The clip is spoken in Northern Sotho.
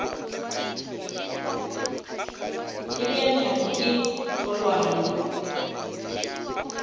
e bea nyako ye kgolwane